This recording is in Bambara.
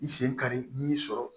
I sen kari n'i y'i sɔrɔ